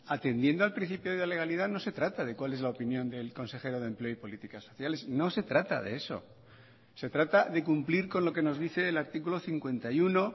atendiendo al principio de legalidad no se trata de cual es la opinión del consejero de empleo y políticas sociales no se trata de eso se trata de cumplir con lo que nos dice el artículo cincuenta y uno